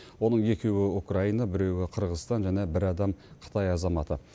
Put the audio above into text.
оның екеуі украина біреуі қырғызстан және бір адам қытай азаматы